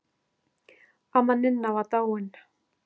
Amma Ninna var dáin.